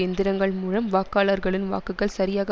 எந்திரங்கள் மூலம் வாக்காளர்களின் வாக்குகள் சரியாக